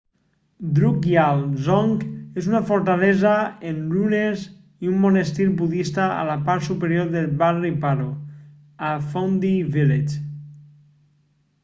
drukgyal dzong és una fortalesa en runes i un monestir budista a la part superior del barri paro a phondey village